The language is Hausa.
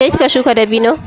Ke kika shuka dabino?